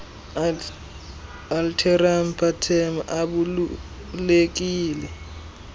alteram partem ubalulekile